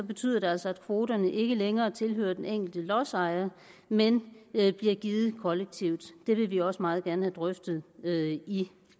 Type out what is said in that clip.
betyder det altså at kvoterne ikke længere tilhører den enkelte lodsejer men bliver givet kollektivt det vil vi også meget gerne have drøftet i